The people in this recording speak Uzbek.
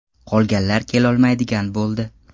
Qolganlar kelolmaydigan bo‘ldi.